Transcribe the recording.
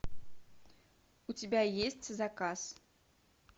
у тебя есть заказ